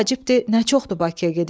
nə çoxdur Bakıya gedib gələn.